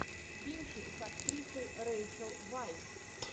кинчик с актрисой рейчел вайс